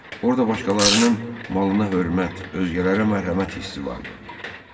Orda başqalarının malına hörmət, özgələrə mərhəmət hissi vardı.